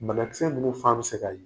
Bana kisɛ ninnu fan bɛ se ka ye